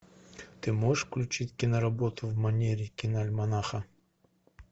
ты можешь включить киноработу в манере киноальманаха